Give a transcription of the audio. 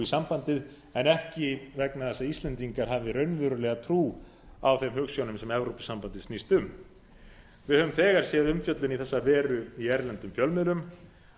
sambandið en ekki vegna þess að íslendingar hafi raunverulega trú á þeim hugsjónum sem evrópusambandið snýst um við höfum þegar séð umfjöllun í þessa veru í erlendum fjölmiðlum